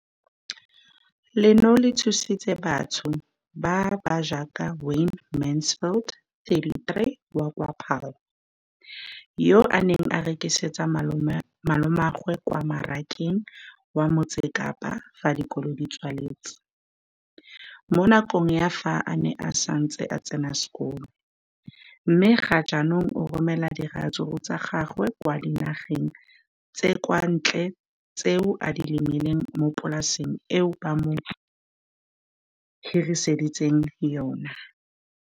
Leno le thusitse batho ba ba jaaka Wayne Mansfield, 33, wa kwa Paarl, yo a neng a rekisetsa malomagwe kwa Marakeng wa Motsekapa fa dikolo di tswaletse, mo nakong ya fa a ne a santse a tsena sekolo, mme ga jaanong o romela diratsuru tsa gagwe kwa dinageng tsa kwa ntle tseo a di lemileng mo polaseng eo ba mo hiriseditseng yona.